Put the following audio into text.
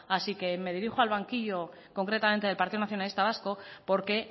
así que me dirijo al banquillo concretamente del partido nacionalista vasco porque